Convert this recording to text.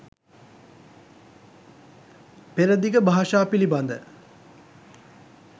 පෙරදිග භාෂා පිළිබඳ